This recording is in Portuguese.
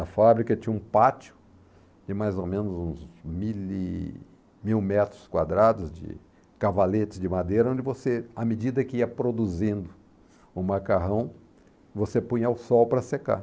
A fábrica tinha um pátio de mais ou menos uns mil e mil metros quadrados de cavaletes de madeira, onde você, à medida que ia produzindo o macarrão, você punha o sol para secar.